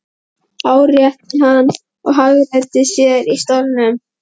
árétti hann og hagræddi sér í stólnum.